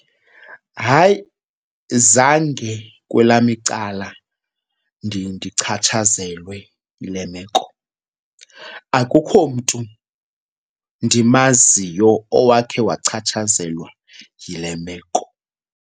Hayi, zange kwelam icala ndichatshazelwe yile meko. Akukho mntu ndimaziyo owakhe wachatshazelwa yile meko.